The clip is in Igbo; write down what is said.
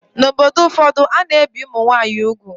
N'obodo ụfọdụ, a na-ebi ụmụ nwaanyị úgwù